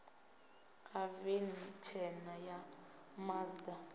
ha veni tshena ya mazda